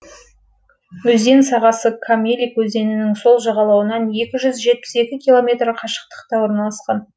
өзен сағасы камелик өзенінің сол жағалауынан екі жүз жетпіс екі километр қашықтықта орналасқан